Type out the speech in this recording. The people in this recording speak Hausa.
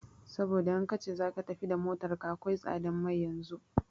Saboda in kace zaka tafi da motar ka akwai tsadan mai yanzun